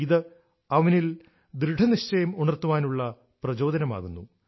ഇത് അവനിൽ ദൃഡനിശ്ചയം ഉണര്ത്തുവാനുള്ള പ്രചോദനമാകുന്നു